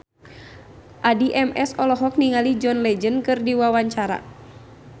Addie MS olohok ningali John Legend keur diwawancara